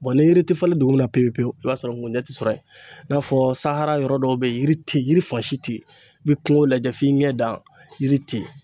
ni yiri ti falen dugu min na pewu pewu i b'a sɔrɔ ngunjɛ tɛ sɔrɔ yen i n'a fɔ sahara yɔrɔ dɔw bɛ yen yiri tɛ yen yiri fan si tɛ yen i bɛ kungo lajɛ f'i ɲɛ dan yiri tɛ yen.